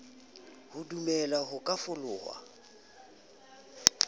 sa dumele ho ka fefolwa